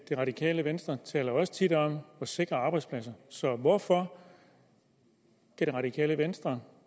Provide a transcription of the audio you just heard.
det radikale venstre taler også tit om at sikre arbejdspladserne hvorfor kan det radikale venstre